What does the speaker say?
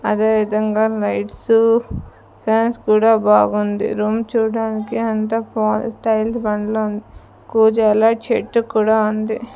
అదేవిధంగా lights fans కూడా బాగుంది రూమ్ చూడడానికి అంత ప స్టైల్ బండలు కుజలా చెట్టు కూడా ఉంది.